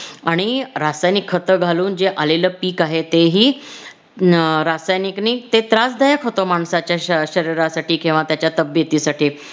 आणि रासायनिक खत घालून जे आलेलं पीक आहे ते ही हम्म रसायनिकने ते त्रासदायक होत माणसाच्या शरीरासाठी किंवा त्याच्या तब्बेतीसाठी